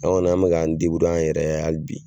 an kɔni an mɛ k'an an yɛrɛ ye hali bi.